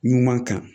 Ɲuman kan